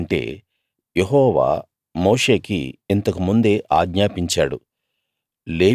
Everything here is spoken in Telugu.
ఎందుకంటే యెహోవా మోషేకి ఇంతకు ముందే ఆజ్ఞాపించాడు